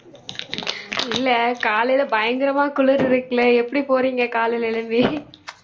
இல்லை காலையில பயங்கரமா குளிரு இருக்குல்ல எப்படி போறீங்க காலையில எழும்பி